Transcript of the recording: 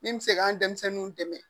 Min bɛ se k'an denmisɛnninw dɛmɛ